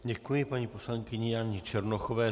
Děkuji paní poslankyni Janě Černochové.